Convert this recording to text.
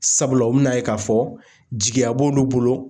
Sabula u bɛ n'a ye k'a fɔ jigiya b'olu bolo.